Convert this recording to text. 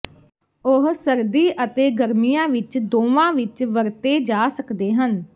ਉਹ ਸਰਦੀ ਅਤੇ ਗਰਮੀਆਂ ਵਿੱਚ ਦੋਵਾਂ ਵਿੱਚ ਵਰਤੇ ਜਾ ਸਕਦੇ ਹਨ